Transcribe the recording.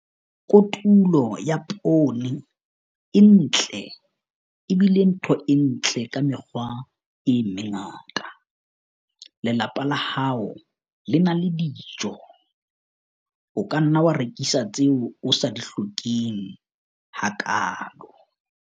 Kotulo ya poone e ntle e bile ntho e ntle ka mekgwa e mengata - lelapa la hao le na le dijo. O ka nna wa rekisa tseo o sa di hlokeng hakaalo.